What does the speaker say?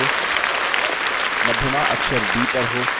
मध्यमा अक्षर d पर हो